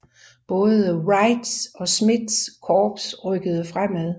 Både Wrights og Smiths korps rykkede fremad